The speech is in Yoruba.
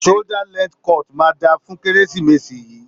Shoulder length cut máa dáa fún Kérésìmesì yìí.